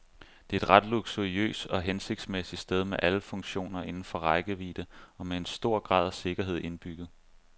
Det er et ret luksuriøs og hensigtsmæssig sted med alle funktioner inden for rækkevidde og med en stor grad af sikkerhed indbygget.